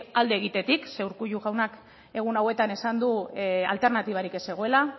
alde egitetik rkullu jaunak egun hauetan esan du alternatibarik ez zegoela